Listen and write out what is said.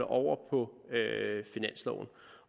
over på finansloven